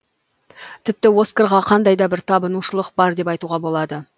тіпті оскарға кандай да бір табынушылық бар деп айтуға болады